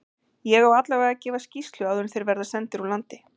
Ég á allavega að gefa skýrslu áður en þeir verða sendir úr landi.